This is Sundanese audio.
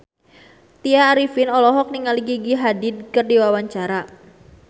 Tya Arifin olohok ningali Gigi Hadid keur diwawancara